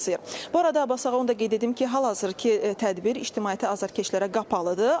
Bu arada Abbasağa onu da qeyd edim ki, hal-hazırkı tədbir ictimaiyyəti azərkeşlərə qapalıdır.